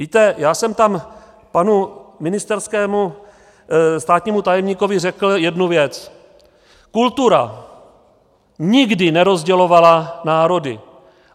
Víte, já jsem tam panu ministerskému státnímu tajemníkovi řekl jednu věc: Kultura nikdy nerozdělovala národy.